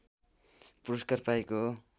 पुरस्कार पाएको हो